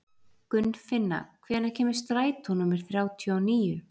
Gunnfinna, hvenær kemur strætó númer þrjátíu og níu?